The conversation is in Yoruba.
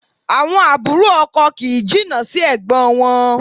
Àwọn àbúrò ọkọ kì í jìnnà sí ẹ̀gbọ́n wọn